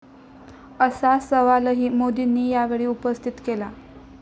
असा सवालही मोदींनी यावेळी उपस्थित केला.